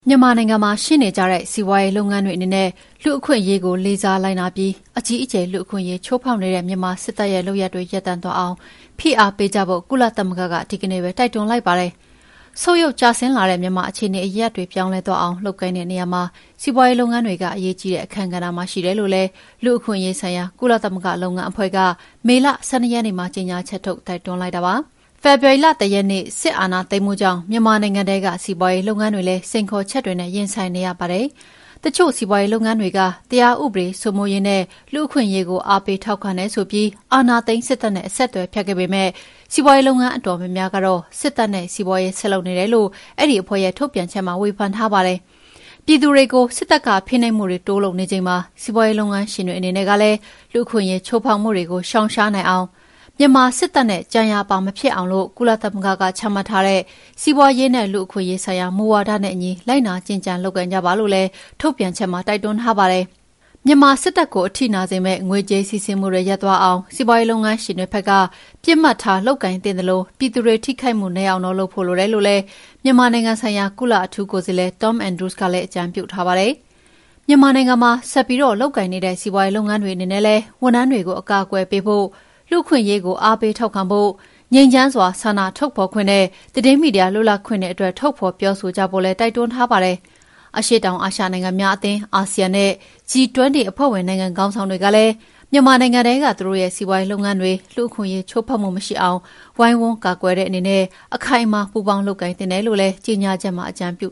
မြန်မာနိုင်ငံမှာ ရှိနေကြတဲ့ စီးပွါးရေးလုပ်ငန်းတွေအနေနဲ့ လူ့အခွင့်အရေးကို လေးစားလိုက်နာပြီး အကြီးအကျယ် လူ့အခွင့်အရေး ချိုးဖောက်နေတဲ့ မြန်မာစစ်တပ်ရဲ့ လုပ်ရပ်တွေ ရပ်တန့်သွားအောင်ဖိအားပေးကြဖို့ ကုလသမဂ္ဂက ဒီကနေ့ပဲ တိုက်တွန်းလိုက်ပါတယ်။ ဆုတ်ယုတ်ကျဆင်းလာတဲ့ မြန်မာ့အခြေအနေအရပ်ရပ်တွေ ပြောင်းလဲသွားအောင်လုပ်ကိုင်တဲ့ နေရာမှာ စီးပါွးရေးလုပ်ငန်းတွေက အရေးကြီးတဲ့ အခန်းကဏ္ဍမှာ ရှိတယ်လို့လည်း လူ့အခွင့်ရေးဆိုင်ရာ ကုလသမဂ္ဂလုပ်ငန်းအဖွဲ့က မေလ ၁၂ ရက်နေ့မှာ ကြေငြာချက်ထုတ် တိုက်တွန်းလိုက်တာဖြစ်ပါတယ်။ ဖေဖော်ဝါရီလ ၁ ရက်နေ့ စစ်အာဏာသိမ်းမှုကြောင့် မြန်မာနိုင်ငံထဲက စီးပါွးရေးလုပ်ငန်းတွေလည်း စိန်ခေါ်ချက်တွေနဲ့ ရင်ဆိုင်နေရပါတယ်။ တချို့စီးပါွးရေးလုပ်ငန်းတွေက တရားဥပဒေစိုးမိုးရေးနဲ့ လူ့အခွင့်အရေးကို အားပေးထောက်ခံတယ်ဆိုပြီး အာဏာသိမ်းစစ်တပ်နဲ့ အဆက်အသွယ်ဖြတ်ခဲ့ပေမဲ့ စီးပွားရေးလုပ်ငန်းအတော်များများကတော့ စစ်တပ်နဲ့ စီးပါွးရေးဆက်လုပ်နေတယ်လို့ အဲဒီအဖွဲ့ရဲ့ ထုတ်ပြန်ချက်မှာ ဝေဖန်ထားပါတယ်။ ပြည်သူတွေကို စစ်တပ်က ဖိနှိပ်မှုတွေ တိုးလုပ်နေချိန်မှာ စီးပါွးရေးလုပ်ငန်းရှင်တွေအနေနဲ့ကလည်း လူ့အခွင့်အရေး ချိုးဖောက်မှုတွေကို ရှောင်ရှားနိုင်အောင် မြန်မာစစ်တပ်နဲ့ ကြံရာပါဖြစ်အောင် ကုလသမဂ္ဂက ချမှတ်ထားတဲ့ "စီးပါွးရေးနဲ့ လူ့အခွင့်အရေးဆိုင်ရာ မူဝါဒ" နဲ့အညီ လိုက်နာကျင့်ကြံလုပ်ကိုင်ကြပါလို့လည်း ထုတ်ပြန်ချက်မှာ တိုက်တွန်းထားပါတယ်။ မြန်မာစစ်တပ်ကို အထိနာစေမယ့် ငွေကြေးစီးဆင်းမှု ရပ်သွားအောင် စီးပါွးရေးုလုပ်ငန်းရှင်တွေဘက်က ပစ်မှတ်ထားလုပ်ကိုင်သင့်သလို ပြည်သူတွေ ထိခိုက်မှုနည်းအောင်လုပ်ဖို့ လိုတော့တယ်လို့လည်း မြန်မာနိုင်ငံဆိုင်ရာ ကုလအထူးကိုယ်စားလှယ် Tom Andrews ကလည်း အကြံပြုထားပါတယ်။ မြန်မာနိုင်ငံမှာ ဆက်ပြီး လုပ်ကိုင်နေတဲ့ စီးပါွးရေးလုပ်ငန်းတွေအနေနဲ့လည်း ဝန်ထမ်းတွေကို အကာအကွယ်ပေးဖို့ လူ့အခွင့်အရေးကို အားပေးထောက်ခံဖု့ိ ငြိမ်းချမ်းစွာဆန္ဒထုတ်ဖော်ခွင့်နဲ့ သတင်းမီဒီယာလွတ်လပ်ခွင့်အတွက် ထုတ်ဖော် ပြောဆိုကြဖို့လည်း တိုက်တွန်းထားပါတယ်။ အရှေ့တောင်အာရှနိုင်ငံများအသင်း (ASEAN) နဲ့ G20 အဖွဲ့ဝင်နိုင်ငံခေါင်းဆောင်တွေကလည်း မြန်မာနိုင်ငံထဲက သူတို့ရဲ့စီးပါွးရေးလုပ်ငန်းတွေ လူ့အခွင့်အရေးချိုးဖောက်မှု မရှိအောင် ဝိုင်းဝန်းကာကွယ်တဲ့အနေနဲ့ အခိုင်အမာ ပူးပေါင်းလုပ်ကိုင်သင့်တယ်လို့ ကြေငြာချက်မှာ အကြံပြု